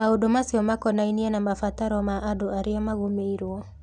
Maũndũ macio makonainie na mabataro ma andũ arĩa magũmĩirũo.